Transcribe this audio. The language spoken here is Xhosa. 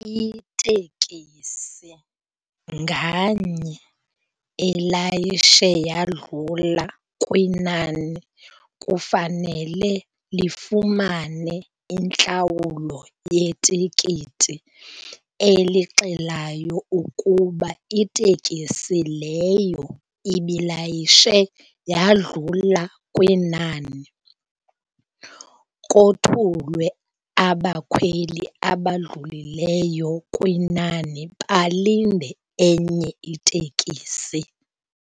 Itekisi nganye elayishe yadlula kwinani kufanele lifumane intlawulo yetikiti elixelayo ukuba itekisi leyo ibilayishe yadlula kwinani, kothulwe abakhweli abadlulileyo kwinani balinde enye itekisi.